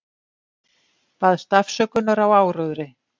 Baðst afsökunar á áróðri